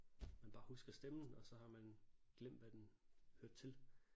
Man bare husker stemmen og så har man glemt hvad den hørte til